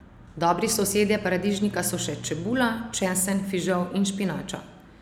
Dobri sosedje paradižnika so še čebula, česen, fižol in špinača.